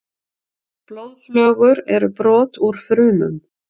Blóðflögur eru brot úr frumum.